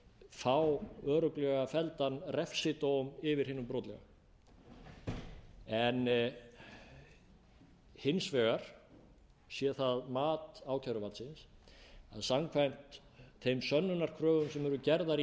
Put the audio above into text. fá örugglega felldan refsidóm yfir hinum brotlega en hins vegar sé það mat ákæruvaldsins að samkvæmt þeim sönnunarkröfum sem eru gerðar í